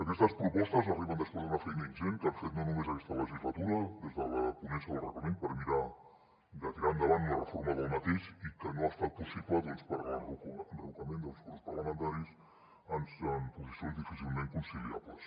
aquestes propostes arriben després d’una feina ingent que hem fet no només aquesta legislatura des de la ponència del reglament per mirar de tirar endavant una reforma d’aquest i que no ha estat possible doncs per l’enrocament dels grups parlamentaris en posicions difícilment conciliables